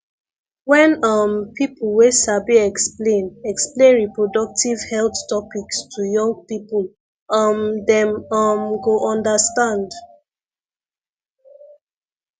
wen um people wey sabi explain explain reproductive health topics to young people um dem um go understand